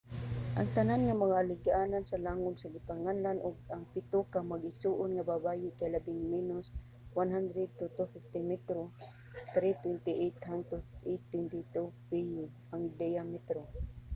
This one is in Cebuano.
ang tanan nga mga alagianan sa langub nga ginganlan og ang pito ka mag-igsoon nga babaye kay labing menos 100 to 250 metro 328 hangtod 820 piye ang diametro